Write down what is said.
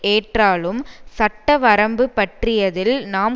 ஏற்றாலும் சட்ட வரம்பு பற்றியதில் நாம்